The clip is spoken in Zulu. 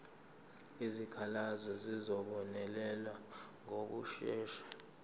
izikhalazo zizobonelelwa ngokushesha